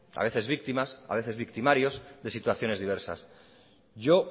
a veces víctimas a veces victimarios de situaciones diversas yo